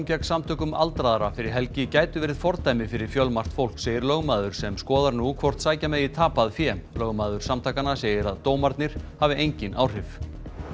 gegn Samtökum aldraðra fyrir helgi gætu verið fordæmi fyrir fjölmargt fólk segir lögmaður sem skoðar nú hvort sækja megi tapað fé lögmaður samtakanna segir að dómarnir hafi engin áhrif